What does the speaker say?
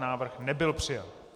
Návrh nebyl přijat.